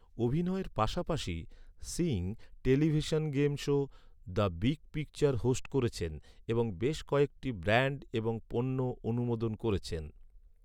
অভিনয়ের পাশাপাশি, Singh television game show, the big picture host করেছেন এবং বেশ কয়েকটি ব্র্যান্ড এবং পণ্য অনুমোদন করেছেন।